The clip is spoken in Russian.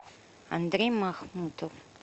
андрей махмутов